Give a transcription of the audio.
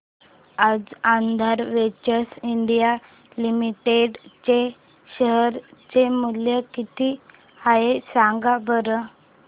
आज Aadhaar Ventures India Limited चे share चे मूल्य किती आहे सांगा बरं